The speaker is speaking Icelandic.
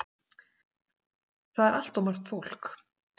Það er allt of margt fólk!